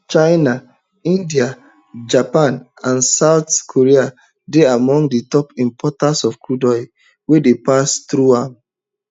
china india japan and south korea dey among di top importers of crude oil wey dey pass along am